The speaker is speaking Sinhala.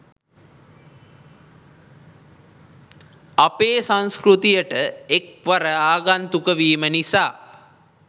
අපේ සංස්කෘතියට එක් වර ආගන්තුක වීම නිසා